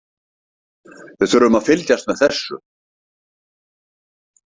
Við þurfum að fylgjast með þessu.